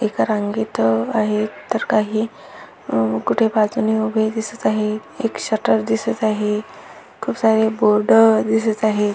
एका रांगेत आहेत तर काही अ कुठे बाजूने उभे दिसत आहेत एक शटर दिसत आहे खूप सारे बोर्ड दिसत आहे.